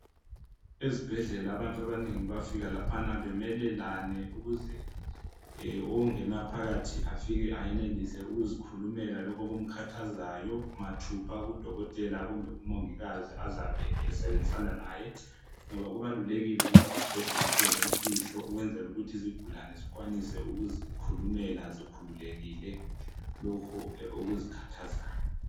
Ezibhedlela abantu abanengi bafika bemelelane ukuze ongena phakathi afike ayenelise ukuzikhulumela lokhu okumkhathazayo mathupha kudokotela kumbe kumongikazi azabe esebenzisa laye ngoba kubalulekile ukuthi sibhedlela sibe lemfihlo ukwenzela ukuthi izigulane zikwanise ukuzikhulumela zikhululekile lokhu okuzikhathazayo.